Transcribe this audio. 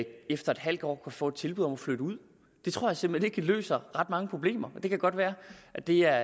efter en halv år kan få et tilbud om at flytte ud det tror jeg simpelt hen ikke løser ret mange problemer det kan godt være at det er